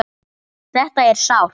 Þetta er sárt.